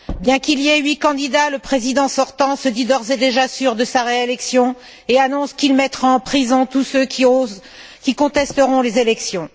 Bien qu'il y ait huit candidats, le président sortant se dit d'ores et déjà sûr de sa réélection et annonce qu'il mettra en prison tous ceux qui contesteront les élections.